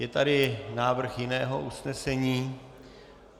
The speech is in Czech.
Je tady návrh jiného usnesení?